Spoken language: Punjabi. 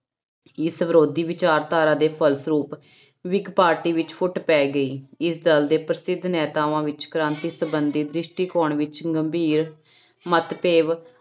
ਇਸ ਵਿਰੋਧੀ ਵਿਚਾਰਧਾਰਾ ਦੇ ਫਲਸਰੂਪ ਵਿਕ ਪਾਰਟੀ ਵਿੱਚ ਫੁਟ ਪੈ ਗਈ ਇਸ ਦਲ ਦੇ ਪ੍ਰਸਿੱਧ ਨੇਤਾਵਾਂ ਵਿੱਚ ਕ੍ਰਾਂਤੀ ਸੰਬੰਧੀ ਦ੍ਰਿਸ਼ਟੀਕੋਣ ਵਿੱਚ ਗੰਭੀਰ ਮਤਭੇਵ